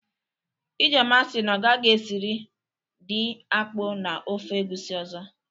Ijeoma si na ọ gaghi esịrị di akpụ na ofe egwusi ọzọ.